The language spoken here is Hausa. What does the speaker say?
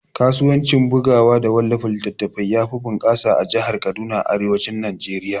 Kasuwanci bugawa da wallafa littatafai yafi bunƙasa a jahar Kaduna a arewacin Najeriya